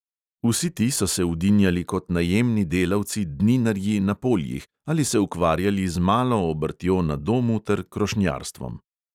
Vsi ti so se vdinjali kot najemni delavci – dninarji na poljih ali se ukvarjali z malo obrtjo na domu ter krošnjarstvom.